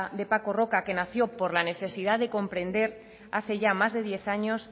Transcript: de paco roca que nació por la necesidad de comprender hace ya más de diez años